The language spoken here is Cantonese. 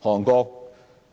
韓國